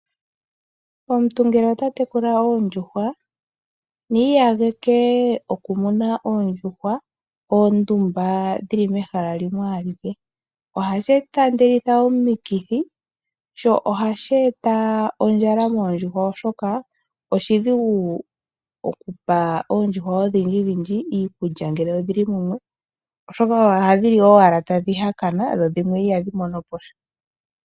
Omuntu ngele ota tekula oondjuhwa, ni iyageke oku muna oondjuhwa ondumba dhili mehala limwe alike. Ohashi taandelitha omikithi, sho ohashi e ta ondjala moondjuhwa, oshoka oshidhigu oku pa oondjuhwa odhindjidhindji iikulya ngele odhi li mumwe. Oshoka ohdhi li owala tadhi hakana, dho dhimwe ihadhi mono po sha.